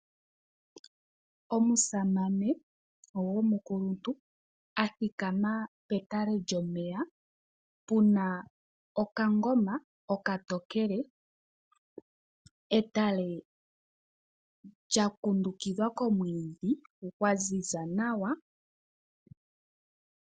Omusamane gomukuluntu a thikama petale lyomeya pu na okangoma okatokele. Etale olya kundukidhwa komwiidhi gwa ziza nawa.